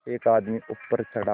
एक आदमी ऊपर चढ़ा